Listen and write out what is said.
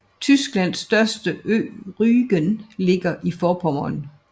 Tysklands største ø Rügen ligger i Forpommern